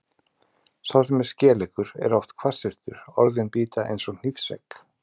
Sá sem er skeleggur er oft hvassyrtur, orðin bíta eins og hnífsegg.